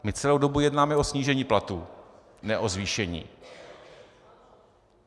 My celou dobu jednáme o snížení platů, ne o zvýšení.